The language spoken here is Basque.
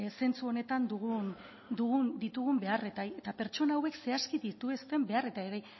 zentzu honetan ditugun beharrei eta pertsona hauek zehazki dituzten beharrei